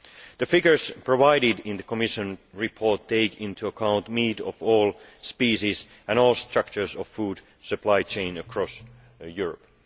The figures provided in the Commission's report take into account meat of all species and all structures of food supply chains across Europe.